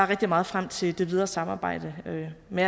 rigtig meget frem til det videre samarbejde med